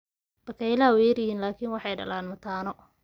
Bakaylaha way yar yihiin laakiin waxay dhalaan mataano.